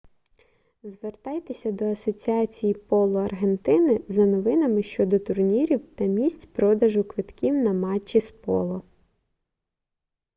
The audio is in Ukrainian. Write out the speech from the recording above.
звертайтеся до асоціації поло аргентини за новинами щодо турнірів та місць продажу квитків на матчі з поло